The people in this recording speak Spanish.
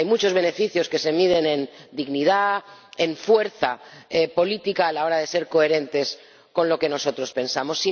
Hay muchos beneficios que se miden en dignidad, en fuerza política a la hora de ser coherentes con lo que nosotros pensamos.